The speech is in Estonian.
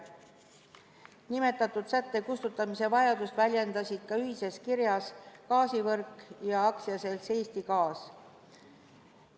Nimetatud sätte kustutamise vajadust väljendasid ühises kirjas ka AS Gaasivõrk ja AS Eesti Gaas.